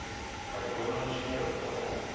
bykomende smere betaal